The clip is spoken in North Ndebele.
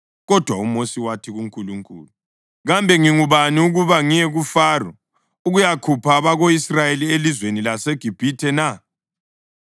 Kodwa uMosi wathi kuNkulunkulu, “Kambe ngingubani ukuba ngiye kuFaro ukuyakhupha abako-Israyeli elizweni laseGibhithe na?”